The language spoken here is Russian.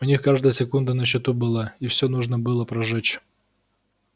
у них каждая секунда на счету была и всё нужно было прожечь